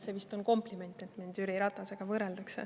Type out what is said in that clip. See vist on kompliment, et mind Jüri Ratasega võrreldakse.